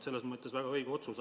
See on väga õige otsus.